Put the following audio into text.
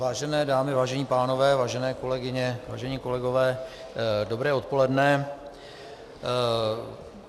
Vážené dámy, vážení pánové, vážené kolegyně, vážení kolegové, dobré odpoledne.